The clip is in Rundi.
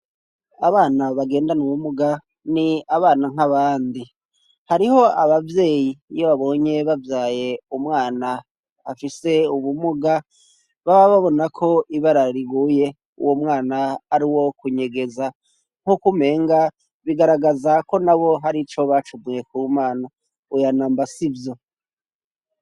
Abana bagendana ubumuga ni abana nk'abandi hariho abavyeyi yo babonye bavyaye umwana afise ubumuga baba babona ko ibarariguye uwo mwana ari wo kunyegeza nk'uko umenga bigaragaza ko na bo hari ico bacumuye ku mana uyanamba sivyo.